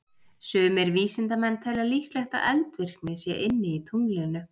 Sumir vísindamenn telja líklegt að eldvirkni sé inni í tunglinu.